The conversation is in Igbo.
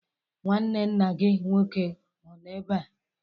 Nnwanne nna gị nnwoke ọ nọ ebe a?